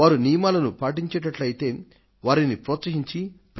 వారు నియమాలను పాటించేటట్లయితే వారిని ప్రోత్సహించి